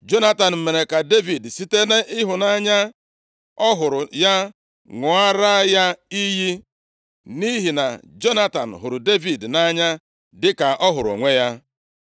Jonatan mere ka Devid site nʼịhụnanya ọ hụrụ ya ṅụọra ya iyi. Nʼihi na Jonatan hụrụ Devid nʼanya dịka ọ hụrụ onwe ya.